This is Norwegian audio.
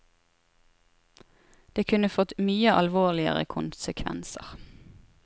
Det kunne fått mye alvorligere konsekvenser.